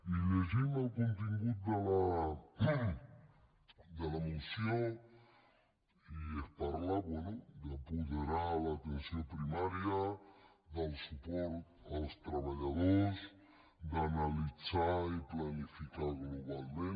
i llegim el contingut de la moció i es parla bé d’apoderar l’atenció primària del suport als treballadors d’analitzar i planificar globalment